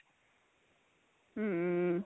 hm